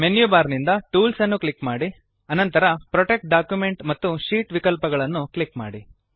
menu bar ನಿಂದ tools ಅನ್ನು click ಮಾಡಿ ಅನಂತರ ಪ್ರೊಟೆಕ್ಟ್ ಡಾಕ್ಯುಮೆಂಟ್ ಮತ್ತು ಶೀಟ್ ವಿಕಲ್ಪಗಳನ್ನು ಕ್ಲಿಕ್ ಮಾಡಿ